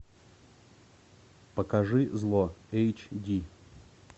покажи зло эйч ди